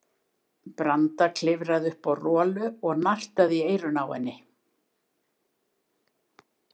Branda klifraði upp á Rolu og nartaði í eyrun á henni.